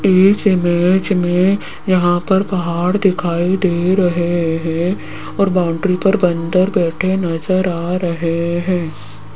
इस इमेज में यहां पर पहाड़ दिखाई रहे हैं और बाउंड्री पर बंदर बैठे नजर आ रहे हैं।